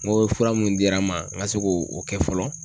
N ko fura mun dira n ma n ka se k'o kɛ fɔlɔ.